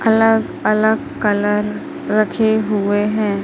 अलग अलग कलर रखे हुए हैं।